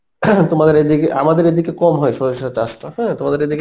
ing তোমাদের এই দিকে আমাদের এই দিকে কম হয় সরিষা চাষটা হ্যাঁ, তোমাদের এদিকে